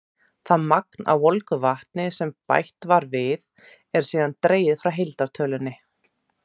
Það magn af volgu vatni sem bætt var við, er síðan dregið frá heildartölunni.